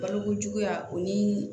Balokojuguya o ni